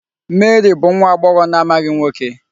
Mary bụ nwa agbọghọ na-amaghị nwoke.